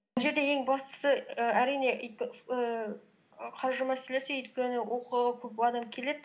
бұл жерде ең бастысы і әрине қаржы мәселесі өйткені оқуға көп адам келеді